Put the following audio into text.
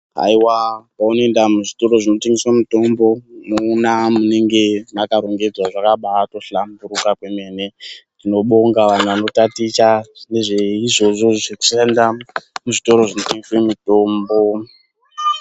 Aiwa moenda muzvitoro zvotengeswa mitombo munoona munenge maka rongedzwa zvaba hlamburika kwemene tinobonga vanhu vanotaticha izvozvo zvekuenda muzvitoro zvino tengeswa mitombo.